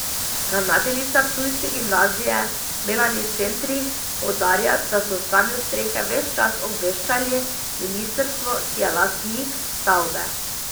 Ravnateljica ptujske gimnazije Melani Centrih poudarja, da so o stanju strehe ves čas obveščali ministrstvo, ki je lastnik stavbe.